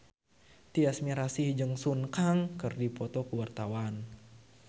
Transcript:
Tyas Mirasih jeung Sun Kang keur dipoto ku wartawan